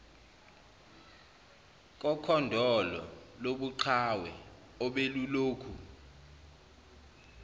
kokhondolo lobuqhawe obelulokhu